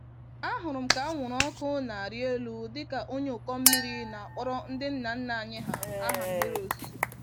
Ahụrụ m ka anwụrụ ọkụ n'arị élú dịka onye ụkọ mmiri na-akpọrọ ndị nna nna anyị hà, aha mmiri ozuzo.